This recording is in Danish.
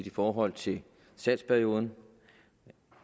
i forhold til salgsperioden